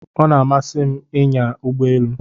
O na-amasị m inya Ụgbọ elu